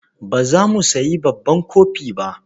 Ba za mu sayi babban kofi ba.